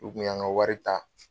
U kun y'an ka wari ta.